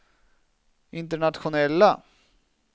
internationella